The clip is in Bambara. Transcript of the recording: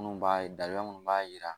Minnu b'a ye daba munnu b'a jira